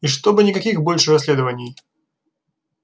и чтобы никаких больше расследований